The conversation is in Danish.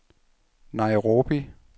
Nairobi